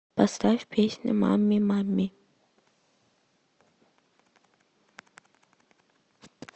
поставь песня мамми мамми